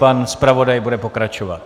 Pan zpravodaj bude pokračovat.